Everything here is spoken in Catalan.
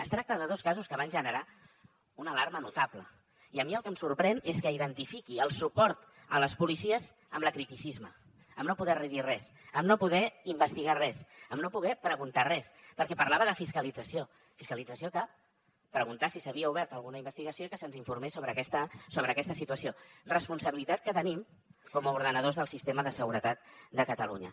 es tracta de dos casos que van generar una alarma notable i a mi el que em sorprèn és que identifiqui el suport a les policies amb l’acriticisme amb no poder dir res amb no poder investigar res amb no poder preguntar res perquè parlava de fiscalització fiscalització cap preguntar si s’havia obert alguna investigació i que se’ns informés sobre aquesta situació responsabilitat que tenim com a ordenadors del sistema de seguretat de catalunya